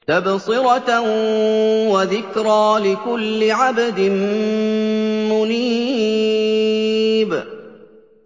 تَبْصِرَةً وَذِكْرَىٰ لِكُلِّ عَبْدٍ مُّنِيبٍ